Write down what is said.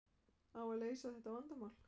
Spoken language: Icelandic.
Á að leysa þetta vandamál?